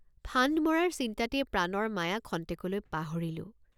ফান্দ মৰাৰ চিন্তাতেই প্ৰাণৰ মায়া খন্তেকলৈ পাহৰিলোঁ।